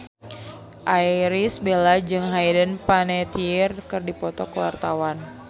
Irish Bella jeung Hayden Panettiere keur dipoto ku wartawan